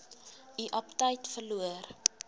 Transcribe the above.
u aptyt verloor